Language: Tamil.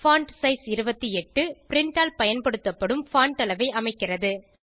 பான்ட்சைஸ் 28 பிரின்ட் ஆல் பயன்படுத்தப்படும் பான்ட் அளவை அமைக்கிறது